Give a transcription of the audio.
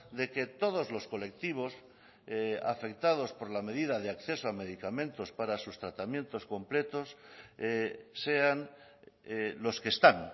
de que todos los colectivos afectados por la medida de acceso a medicamentos para sus tratamientos completos sean los que están